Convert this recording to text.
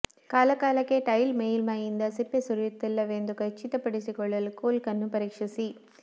ಕಾಲಕಾಲಕ್ಕೆ ಟೈಲ್ ಮೇಲ್ಮೈಯಿಂದ ಸಿಪ್ಪೆ ಸುರಿಯುತ್ತಿಲ್ಲವೆಂದು ಖಚಿತಪಡಿಸಿಕೊಳ್ಳಲು ಕೋಲ್ಕ್ ಅನ್ನು ಪರೀಕ್ಷಿಸಿ